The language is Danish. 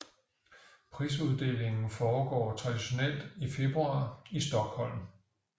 Prisuddelingen foregår traditionelt i februar i Stockholm